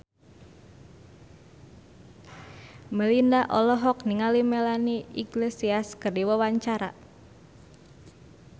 Melinda olohok ningali Melanie Iglesias keur diwawancara